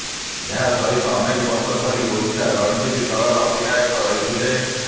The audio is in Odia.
ଏହା ସହିତ ଅନେକ ବର୍ଷ ଧରି ଓଡ଼ିଶା ରଣଜୀ ଦଳର ଅଧିନାୟକ ରହିଥିଲେ